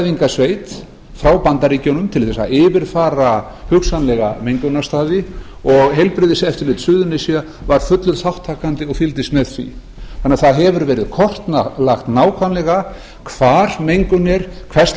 og níu sérfræðingasveit frá bandaríkjunum til þess að yfirfara hugsanlega mengunarstaði og heilbrigðiseftirlit suðurnesja var fullur þátttakandi og fylgdist með því það hefur því verið kortlagt nákvæmlega hvar mengun er hvers